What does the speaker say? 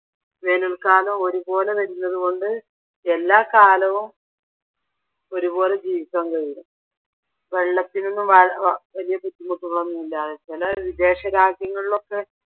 വേനൽക്കാലവും ഒരുപോലെ വരുന്നത് കൊണ്ട് എല്ലാ കാലവും ഒരുപോലെ ജീവിക്കാൻ കഴിയും. വെള്ളത്തിനൊന്നും വലിയ ബുദ്ധിമുട്ടുകളൊന്നുമില്ലാതെ ചില വിദേശരാജ്യങ്ങളിലൊക്കെ